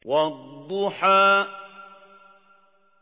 وَالضُّحَىٰ